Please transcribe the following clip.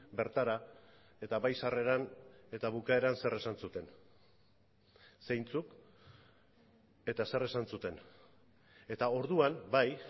bertara eta bai sarreran eta bukaeran zer esan zuten zeintzuk eta zer esan zuten eta orduan bai